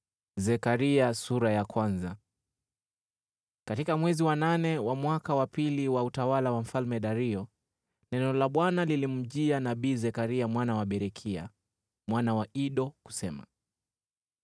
Katika mwezi wa nane wa mwaka wa pili wa utawala wa Mfalme Dario, neno la Bwana lilimjia nabii Zekaria mwana wa Berekia, mwana wa Ido, kusema: